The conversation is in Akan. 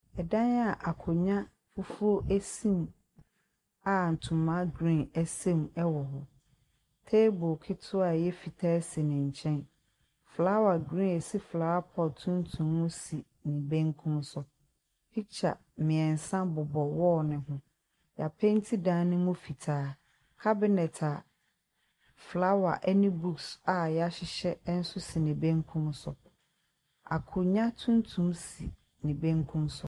3dan a akonya fufuo asi mu a ntoma green 3s3 mu 3w) h). Table ketewaa 3y3 fitaa asi ne nky3n . Flower green asi flower pot tuntum no si ne benkum so, pikya mmiensa bob) wall no ho , y'ap3nti dan no mu fitaa, cabinet a flower 3ne books a y'ahyehy3 nso si ne benkum so. Akonya tuntum si ne benkum so .